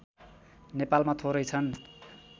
नेपालमा थोरै छन्